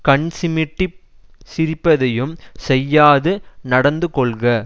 கண்சிமிட்டிச் சிரிப்பதையும் செய்யாது நடந்துகொள்க